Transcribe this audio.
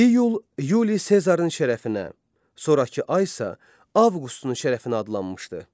İyul Yuli Sezarın şərəfinə, sonrakı ay isə Avqustun şərəfinə adlanmışdı.